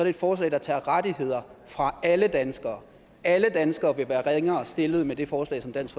et forslag der tager rettigheder fra alle danskere alle danskere vil være ringere stillet med det forslag som dansk